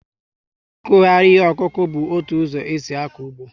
Ikughari ihe okuku bu ótụ ụzọ esi ako ụgbọ